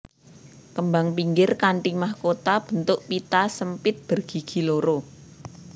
Kembang pinggir kanthi mahkota bentuk pita sempit bergigi loro